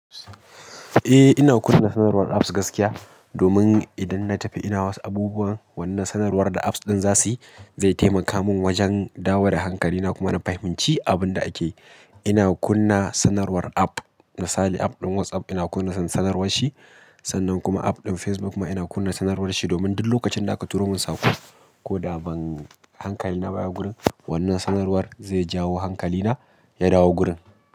Eh, ina kunna sanarwar apps gaskiya, domin idan na tafi ina wasu abubuwan, wannan sanarwar da apps ɗin za su yi zai taimaka min wajen dawo da hankalina kuma na fahimci abin da ake. Ina kunna sanarwar app, misali app ɗin WhatsApp ina kunna sanarwar shi sannan kuma app ɗin Facebook ma ina kunna sanarwar shi domin duk lokacin da aka turo mun saƙo ko da ban hankalina baya gurin, wannan sanarwar zai jawo hankalina ya dawo gurin.